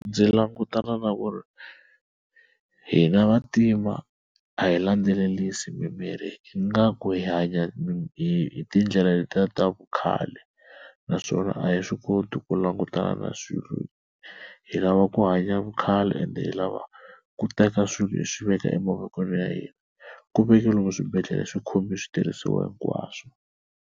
Ndzi langutana na ku ri hina Vantima a hi landzelerisi mimirhi ingaku hi hanya hi tindlela letiya ta vukhale, naswona a hi swi koti ku langutana na swilo hi lava ku hanya vukhale ende hi lava ku teka swilo leswi hi swi veka emavokweni ya hina ku veka lomu swibedhlele swi khomi switirhisiwa hinkwaswo.